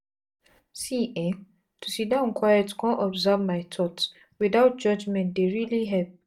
see eh to siddon quiet con observe my thoughts without judgment dey really help.